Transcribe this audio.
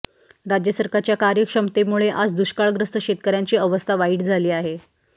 राज्य सरकारच्या कार्यक्षमतेमुळे आज दुष्काळग्रस्त शेतकऱ्यांची अवस्था वाईट झाली आहे